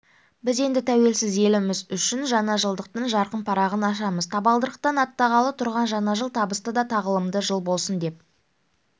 біз енді тәуелсіз еліміз үшін жаңа жылдықтың жарқын парағын ашамыз табалдырықтан аттағалы тұрған жаңа жыл табысты да тағылымды жыл болсын деп